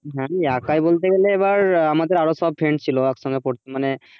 আমি একাই বলতে গেলে আমাদের আরও সব friends ছিল একসঙ্গে পড়ত মানে,